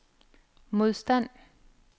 modstand